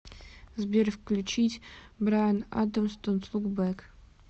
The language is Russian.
сбер включить брайан адамс донт лук бэк